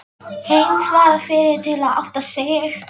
Heinz varð fyrri til að átta sig.